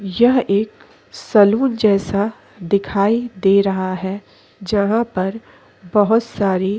यह एक सलून जैसा दिखाई दे रहा है जहाँ पर बहुत सारी --